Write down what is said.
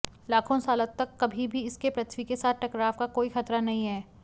लाखों सालों तक कभी भी इसके पृथ्वी के साथ टकराव का कोई खतरा नहीं है